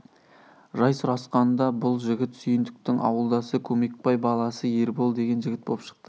жай сұрасқанда бұл жігіт сүйіндіктің ауылдасы көмекбай баласы ербол деген жігіт боп шықты